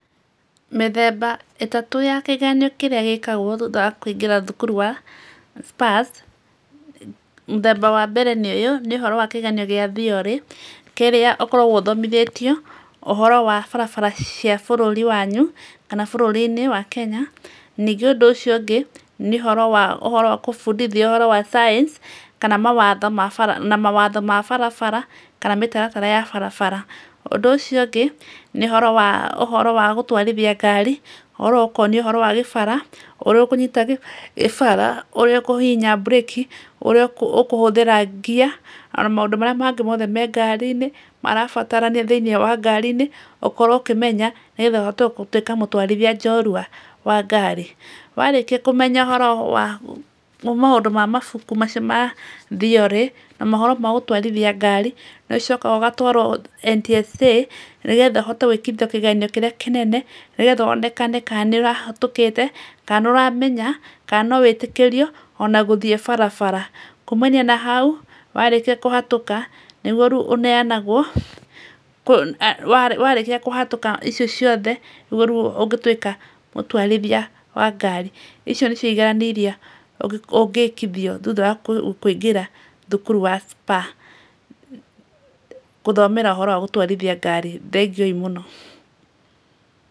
Mĩthemba ĩtatũ ya kĩgeranio kĩrĩa gĩkagwo thutha wa kũingĩra thukuru wa Spurs. Mũthemba wa mbeere nĩ ũyũ, nĩ ũhoro wa kĩgeranio gĩa theory kĩrĩa ũkoragwo ũthomithĩtio, ũhoro wa barabara cia bũrũri wanyu kana bũrũri-inĩ wa Kenya. Ningĩ ũndũ ũcio ũngĩ, nĩ ũhoro wa, ũhoro wa gũbundithia ũhoro wa signs kana mawatho ma bara na mawatho ma barabara, kana mĩtaratara ya barabara. Ũndũ ũcio ũngĩ nĩ ũhoro wa ũhoro wa gũtwarithia ngari ũhoro ũkonio ũhoro wa gĩbara ũrĩa ũkũnyita gĩbara ũrĩa ũkũhihinya burĩki, ũrĩa ũkũhũthĩra gear o na maũndũ marĩa mothe me ngari-inĩ, marabatarania thĩinĩ wa ngari-inĩ ũkorwo ũkĩmenya nĩgetha ũhote gũtwika mũtwarithia njorua wa ngari. Warĩkia kũmenya ũhoro wa maũndũ ma mabuku macio ma theory na mohoro ma gũtwarithia ngari nĩ ũcokaga ũgatwarwo NTSA nĩgetha ũhote gwĩkithio kĩgeranio kĩrĩa kĩnene nĩgetha wonekane ka nĩũrahatũkĩte ka nĩũramenya ka no wĩtĩkĩrio, o na gũthiĩ barabara. Kumania na hau warĩkia kũhatuka nĩguo rĩu ũneanagwo warĩkia kũhatũka icio ciothe nĩ rĩo rĩu ũngĩtwika mũtwarithia wa ngari. Icio nicio igeranio iria ũngĩkithio thuta wa kũingĩra thukuru wa Spurs, gũthomera ũhoro wa gũtwarithia ngari. Thengiũi mũno.